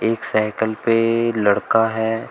एक साइकल पे लड़का है।